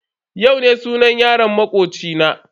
Yau ne sunan yaron makoci na.